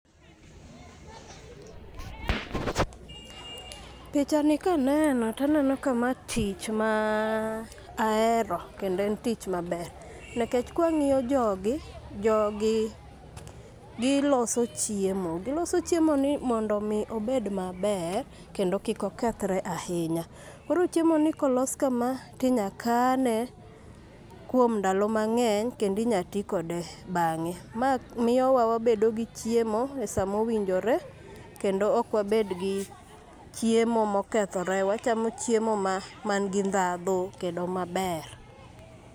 Pichani kaneno taneno ka ma tich ma ahero kendo en tich maber nikech kwang'iyo jogi, jogi giloso chiemo. Giloso chiemoni mondo omi obed maber, kendo kik okethre ahinya. Koro chiemoni kolos kama tinya kane kuom ndalo mang'eny. Kendo inya ti kode bang'e, ma miyowa wabedo gi chiemo e sa mowinjore kendo ok wabed gi chiemo mokethore. Wachamo chiemo man gi ndhandhu kendo maber.